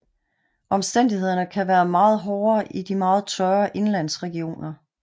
Omstændighederne kan være meget hårdere i de meget tørre indenlandsregioner